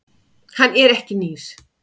Hann er ekki nýr.